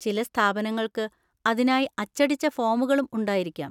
ചില സ്ഥാപനങ്ങൾക്ക് അതിനായി അച്ചടിച്ച ഫോമുകളും ഉണ്ടായിരിക്കാം.